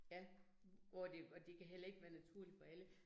Ja, og det og det kan heller ikke være naturligt for alle